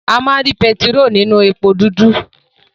A má ri pẹtiró ninu èpo dudu.